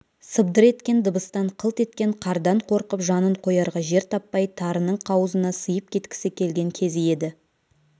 сыбдыр еткен дыбыстан қылт еткен қардан қорқып жанын қоярға жер таппай тарының қауызына сыйып кеткісі келген кезі еді